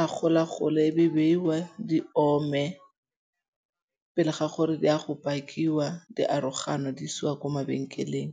a gola-gole e be beiwa di ome. Ga gore di a go pakiwa diarogano di isiwa kwa mabenkeleng.